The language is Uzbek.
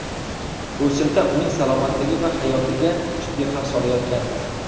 O‘simta uning salomatligi va hayotiga jiddiy xavf solayotgandi.